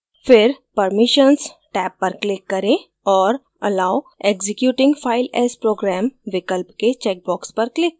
फिर permissions tab पर click करें औऱ allow executing file as program विकल्प के checkbox पर click करें